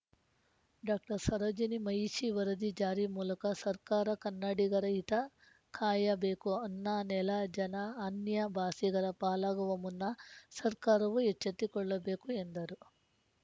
doctor Sarojini Mahishi ವರದಿ ಜಾರಿ ಮೂಲಕ ಸರ್ಕಾರ ಕನ್ನಡಿಗರ ಹಿತ ಕಾಯಬೇಕು ಅನ್ನ ನೆಲ ಜನ ಅನ್ಯ ಭಾಸೆಗಳ ಪಾಲಾಗುವ ಮುನ್ನ ಸರ್ಕಾರವೂ ಎಚ್ಚೆತ್ತುಕೊಳ್ಳಬೇಕು ಎಂದರು